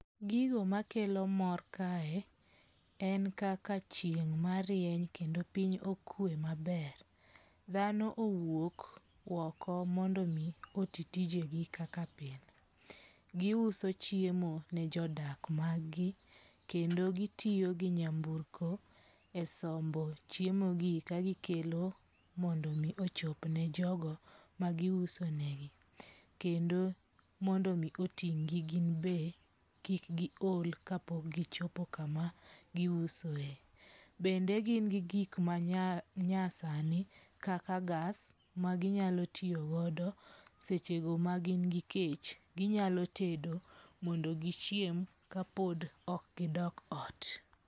Gigo makelo mor kae en kaka chieng' marieny kendo piny okwe maber. Dhano owuok oko mondo mi oti tijegi kaka pile. Giuso chiemo ne jodak mag gi kendo gitiyo gi nyamburko e sombo chiemo gi kagikelo mondo omi ochop ne jogo magiuso negi. Kendo mondo mi oting'gi gin be kik gi ol kapok gichopo kama giusoe. Bende gin gi gik manyasani kaka gas maginyalo tiyogodo seche go ma gin gi kech. Ginyalo tedo mondo gichiem ka pod ok gidok ot.